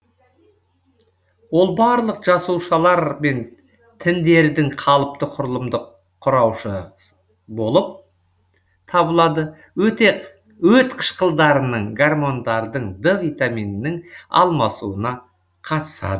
ол барлық жасушалар мен тіндердің қалыпты құрылымдық құрауышы болып табылады өте өт қышқылдарының гормондардың д витаминінің алмасуына қатысады